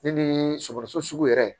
Ne ni sogo sugu yɛrɛ